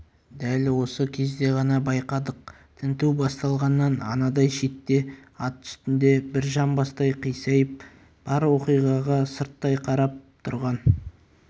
дәл осы кезде ғана байқадық тінту басталғаннан анадай шетте ат үстінде бір жамбастай қисайып бар оқиғаға сырттай қарап тұрған